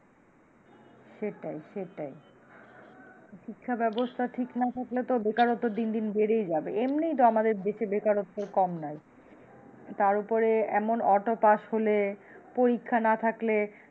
সেটাই সেটাই শিক্ষা ব্যবস্থা ঠিক না থাকলে তো বেকারত্ব দিন দিন বেড়েই যাবে, এমনিই তো আমাদের দেশে বেকারত্ব কম নয়, তার উপরে এমন auto pass হলে পরীক্ষা না থাকলে,